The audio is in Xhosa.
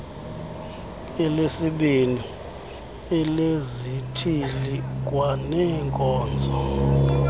elesibini elezithili kwaneenkonzo